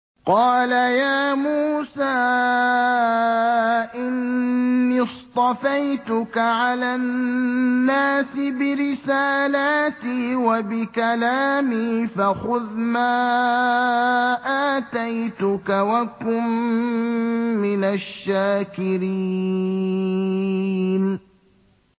قَالَ يَا مُوسَىٰ إِنِّي اصْطَفَيْتُكَ عَلَى النَّاسِ بِرِسَالَاتِي وَبِكَلَامِي فَخُذْ مَا آتَيْتُكَ وَكُن مِّنَ الشَّاكِرِينَ